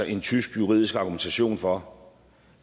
en tysk juridisk argumentation for